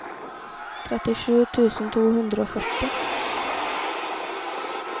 trettisju tusen to hundre og førti